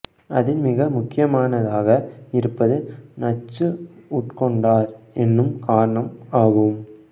அதில் மிக முக்கியமானதாக இருப்பது நச்சு உட்கொண்டார் என்னும் காரணம் ஆகும்